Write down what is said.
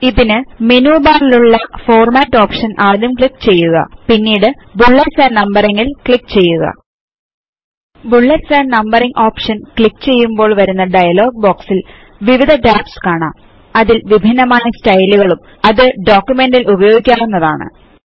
ഇതിനു menu bar ൽ ഉള്ള ഫോർമാറ്റ് ഓപ്ഷൻ ആദ്യം ക്ലിക്ക് ചെയ്യുക പിന്നീട് ബുള്ളറ്റ്സ് ആൻഡ് നംബറിംഗ് ൽ ക്ലിക്ക് ചെയ്യുക bullets and numbering option click ചെയ്യുമ്പോൾ വരുന്ന ഡയലോഗ് boxൽ വിവിധ ടാബ്സ് കാണാം അതിൽ വിഭിന്നമായ സ്റ്റയിലുകളും അത് ഡോക്യുമെന്റ് ൽ ഉപയോഗിക്കാവുന്നതാണ്